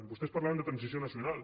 vostès parlaven de transició nacional